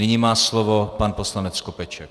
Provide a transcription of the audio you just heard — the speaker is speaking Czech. Nyní má slovo pan poslanec Skopeček.